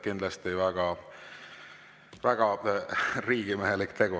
Kindlasti väga riigimehelik tegu.